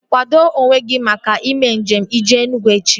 Kwado onwe gị maka ime njem jee Enugwu echi!